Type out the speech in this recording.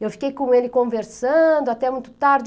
Eu fiquei com ele conversando até muito tarde.